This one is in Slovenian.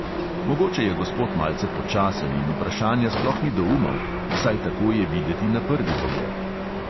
Mogoče je gospod malce počasen in vprašanja sploh ni doumel; vsaj tako je videti na prvi pogled.